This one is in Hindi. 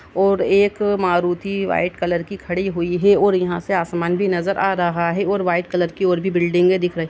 और एक अ मारुती व्हाइट कलर कि खड़ी हुई है और यहा से आसमान भी नजर आ रहा है और व्हाइट कलर कि और भी बिल्डिंगे दिख रही --